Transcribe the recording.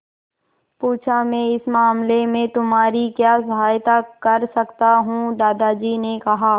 पूछा मैं इस मामले में तुम्हारी क्या सहायता कर सकता हूँ दादाजी ने कहा